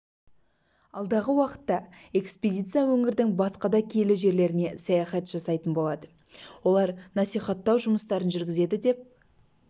алдағы уақытта экспедиция өңірдің басқа да киелі жерлеріне саяхат жасайтын болады олар насихаттау жұмыстарын жүргізеді деп